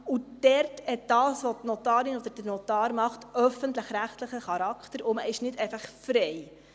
Was der Notar oder die Notarin macht, hat dort öffentlich-rechtlichen Charakter, und man ist nicht einfach frei.